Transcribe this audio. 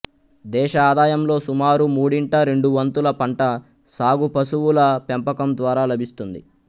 దేశ ఆదాయంలో సుమారు మూడింట రెండు వంతుల పంట సాగు పశువుల పెంపకం ద్వారా లభిస్తుంది